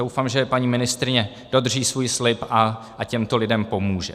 Doufám, že paní ministryně dodrží svůj slib a těmto lidem pomůže.